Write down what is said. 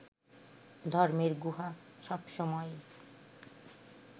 ধর্মের গুহা সবসময়ই